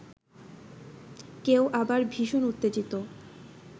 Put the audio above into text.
কেউ আবার ভীষণ উত্তেজিত